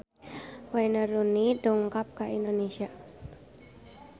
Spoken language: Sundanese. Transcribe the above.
Wayne Rooney dongkap ka Indonesia